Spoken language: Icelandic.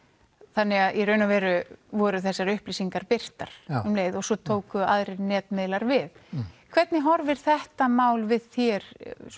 þannig að í raun og veru voru þessar upplýsingar birtar og svo tóku aðrir netmiðlar við hvernig horfir þetta mál við þér